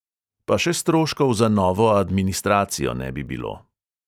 Pa še stroškov za novo administracijo ne bi bilo.